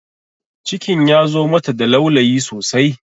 Cikin ya zo mata da laulayi sosai